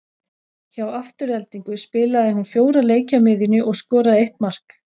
Hjá Aftureldingu spilaði hún fjóra leiki á miðjunni og skoraði eitt mark.